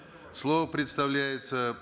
слово предоставляется